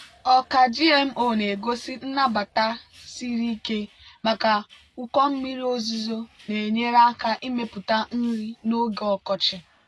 ọka gmo na-egosi nnabata siri ike maka ụkọ mmiri ozuzo na-enyere aka ịmepụta nri n'oge ọkọchị.